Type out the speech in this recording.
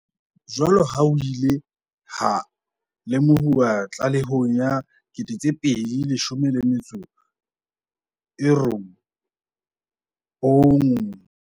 Jwaloka ha ho ile ha lemohuwa tlalehong ya 2019 ya Phanele ya Boeletsi ya Moporesidente ya Tlhabollo ya Mobu le Temothuo, e reng